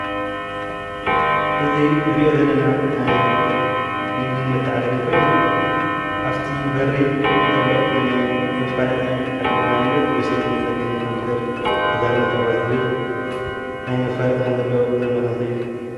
እዙይ እንሪኦ ዘለና ናይ ንግድን መተዓዳደግን ኾይኑ ኣፍቲ በሪ ዘሎ ሓደ ንኣብነት መሸጥን መዐደግን ኮምፒተር ተዛመድቲ ኣቁሑት ዝብል ናይ መፋለጢ ዘመላኽት እዩ።